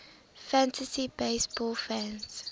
fantasy baseball fans